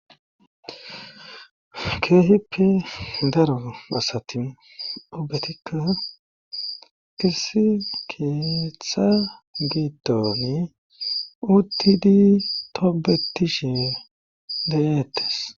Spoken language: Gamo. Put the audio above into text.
keehippe daro asati ubetikka issi keeththa gidiooni uttidi tobetishe de'eettes